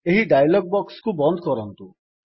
ଏହି ଡାୟଲଗ୍ ବକ୍ସକୁ ବନ୍ଦ କରନ୍ତୁ